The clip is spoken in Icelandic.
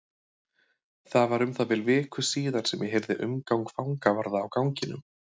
Það var um það bil viku síðar sem ég heyrði umgang fangavarða á ganginum.